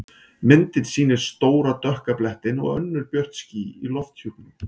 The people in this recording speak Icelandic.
Myndin sýnir stóra dökka blettinn og önnur björt ský í lofthjúpnum.